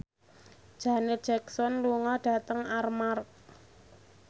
Janet Jackson lunga dhateng Armargh